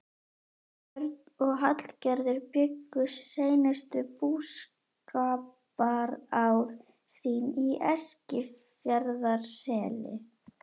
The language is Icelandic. Björn og Hallgerður bjuggu seinustu búskaparár sín í Eskifjarðarseli.